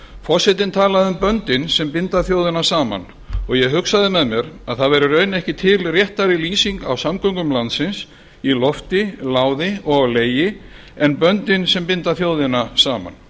forsetinn talaði um böndin sem binda þjóðina saman og ég hugsaði með mér að það væri í raun ekki til réttari lýsing á samgöngum landsins í lofti láði og á legi en böndin sem binda þjóðina saman